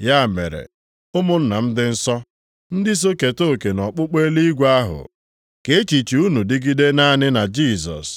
Ya mere, ụmụnna m dị nsọ, ndị so keta oke nʼọkpụkpọ eluigwe ahụ, ka echiche unu dịgide naanị na Jisọs.